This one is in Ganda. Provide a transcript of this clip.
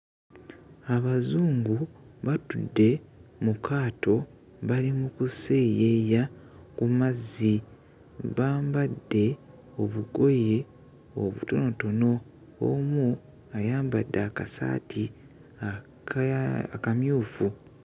Abazungu batudde mu kaato bali mu kuseeyeeya ku mazzi bambadde obugoye obutonotono, omu ayambadde akasaati akaa akamyufu.